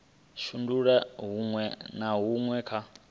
shandula huṅwe na huṅwe kha